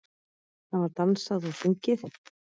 Það var dansað og sungið.